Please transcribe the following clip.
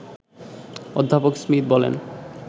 অধ্যাপক স্মিথ বলেন